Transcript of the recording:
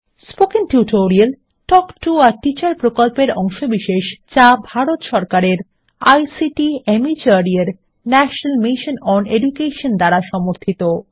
spoken tutorial talk to a teacher প্রকল্পের অংশবিশেষ যা ভারত সরকারের আইসিটি মাহর্দ এর ন্যাশনাল মিশন ওন এডুকেশন দ্বারা সমর্থিত